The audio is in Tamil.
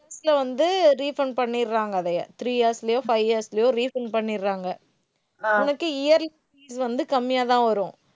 வந்து, refund பண்ணிடுறாங்க, அதையே. three years லயோ, five years லயோ, refund பண்ணிடுறாங்க. உனக்கு yearly fees வந்து கம்மியாதான் வரும்